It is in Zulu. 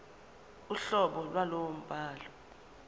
uhlobo lwalowo mbhalo